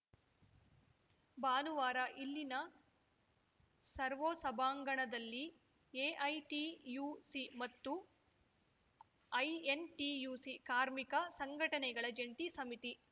ಭಾನುವಾರ ಇಲ್ಲಿನ ಸರ್ವೂ ಸಭಾಂಗಣದಲ್ಲಿ ಎಐಟಿಯುಸಿ ಮತ್ತು ಐಎನ್‌ಟಿಯುಸಿ ಕಾರ್ಮಿಕ ಸಂಘಟನೆಗಳ ಜಂಟಿ ಸಮಿತಿ